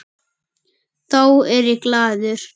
Þá er ég glaður.